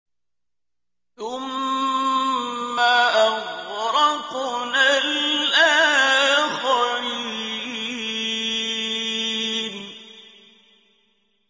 ثُمَّ أَغْرَقْنَا الْآخَرِينَ